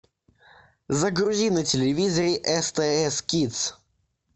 загрузи на телевизоре стс кидс